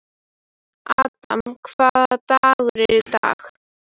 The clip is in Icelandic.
Adam, hvaða dagur er í dag?